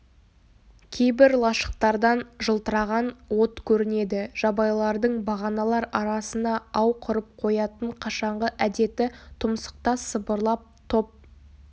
кейбір лашықтардан жылтыраған от көрінеді жабайылардың бағаналар арасына ау құрып қоятын қашанғы әдеті тұмсықта сыбырлап топ